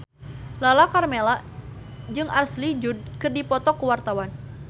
Lala Karmela jeung Ashley Judd keur dipoto ku wartawan